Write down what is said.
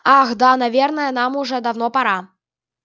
ах да наверное нам уже давно пора